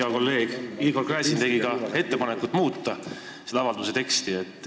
Hea kolleeg Igor Gräzin tegi ettepaneku muuta avalduse teksti.